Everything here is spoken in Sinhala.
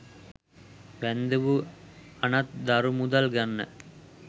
වැන්දඹු අනත් දරු මුදල් ගන්න